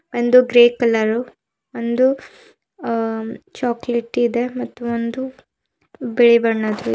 ಒಂದು grey colour ಒಂದು ಅ ಚಾಕಲೇಟಿ ಇದೆ ಮತ್ತು ಒಂದು ಬಿಳಿ ಬಣ್ಣದು--